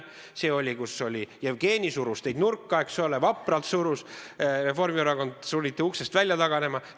See oli see, milles Jevgeni teid vapralt nurka surus, eks ole, Reformierakond sunniti uksest välja taganema.